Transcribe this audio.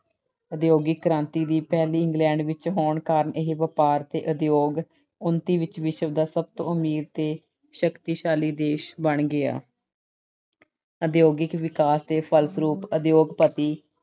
ਉਦਯੋਗਿਕ ਕ੍ਰਾਂਤੀ ਦੀ ਪਹਿਲੀ ਇੰਗਲੈਂਡ ਵਿੱਚ ਹੋਣ ਕਾਰਨ ਇਹ ਵਪਾਰ ਅਤੇ ਉਦਯੋਗ ਉੱਨਤੀ ਵਿੱਚ ਵਿਸ਼ਵ ਦਾ ਸਭ ਤੋਂ ਅਮੀਰ ਤੇ ਸ਼ਕਤੀਸ਼ਾਲੀ ਦੇਸ਼ ਬਣ ਗਿਆ। ਉਦਯੋਗਿਕ ਵਿਕਾਸ ਦੇ ਫਲਸਰੂਪ ਉਦਯੋਗਪਤੀ,